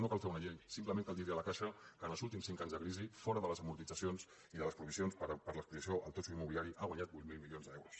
no cal fer una llei simplement cal dir a la caixa que en els últims cinc anys de crisi fora de les amortitzacions i de les provisions per l’exposició al totxo immobiliari ha guanyat vuit mil milions d’euros